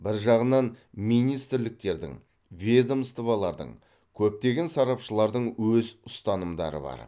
бір жағынан министрліктердің ведомстволардың көптеген сарапшылардың өз ұстанымдары бар